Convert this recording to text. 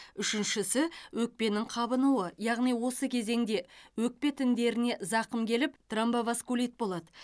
үшіншісі өкпенің қабынуы яғни осы кезеңде өкпе тіндеріне зақым келіп тромбоваскулит болады